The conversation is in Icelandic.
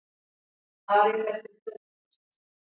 Ari fer til Þjóðleikhússins